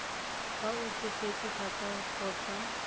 fa o tsofetse thata kgotsa